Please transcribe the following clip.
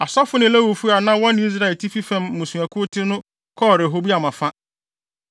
Asɔfo ne Lewifo a na wɔne Israel atifi fam mmusuakuw te no kɔɔ Rehoboam afa.